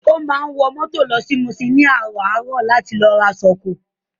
Ó máa ń wọ mọ́tò lọ Muṣin ní àràárọ̀ láti lọ ra ṣọkọ.